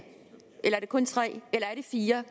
eller er det kun tre eller er det fire